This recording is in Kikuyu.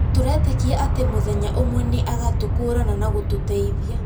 Tũretĩkia atĩ mũthenya ũmwe nĩ agatũkũrana na gũtũteithia.